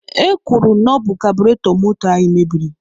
E kwuru na ọ bụ kabụretọ moto anyị meberi.